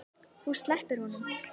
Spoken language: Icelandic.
Þú slepptir honum.